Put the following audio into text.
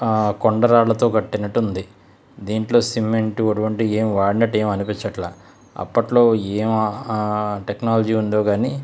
ఆ కొండా రాళ్లతో కట్టినట్టు ఉంది. దీనిలో సిమెంట్ అటువంటివి వాడినట్టు ఏమి అనిపించట్లా. అప్పట్లో ఎం టెక్నాలజీ ఉందొ కానీ --